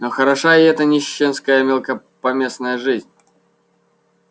но хороша и эта нищенская мелкопоместная жизнь